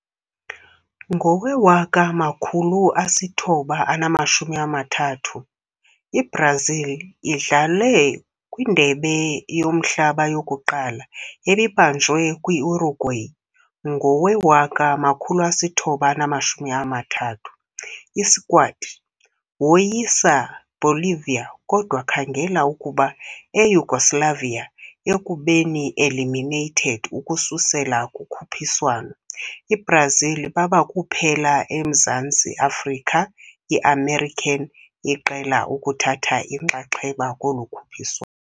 Ngowe-1930, Brazil idlalwe kwi - lokuqala World Cup, ebibanjwe kwi-Uruguay ngowe-1930. I-squad woyisa Bolivia kodwa khangela ukuba Eyugoslavia, ekubeni eliminated ukususela ukhuphiswano. Brazil baba kuphela emzantsi Afrika i-american iqela ukuthatha inxaxheba kolu ukhuphiswa